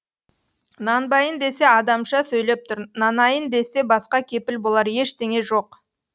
нанбайын десе адамша сөйлеп тұр нанайын десе басқа кепіл болар ештеңе жоқ